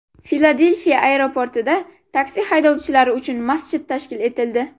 Filadelfiya aeroportida taksi haydovchilari uchun masjid tashkil etildi.